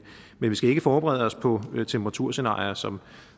vi skal ikke forberede os på temperaturscenarier som